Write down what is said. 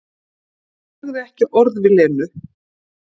Sagði ekki orð við Lenu.